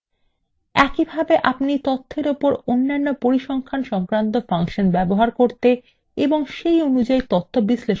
একইভাবে আপনি তথ্যর ওপর অন্যান্য পরিসংখ্যান সংক্রান্ত ফাংশন ব্যবহার করতে এবং সেই অনুযায়ী তাদের বিশ্লেষণ করতে পারেন